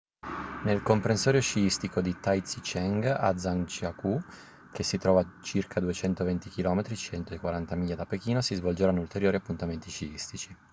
nel comprensorio sciistico di taizicheng a zhangjiakou che si trova a circa 220 km 140 miglia da pechino si svolgeranno ulteriori appuntamenti sciistici